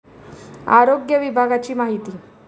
आरोग्य विभागाची माहिती